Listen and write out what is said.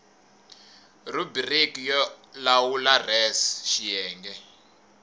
rhubiriki yo lawula res xiyenge